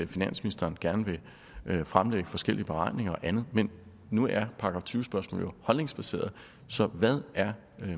finansministeren gerne vil fremlægge forskellige beregninger og andet men nu er § tyve spørgsmål jo holdningsbaserede så hvad er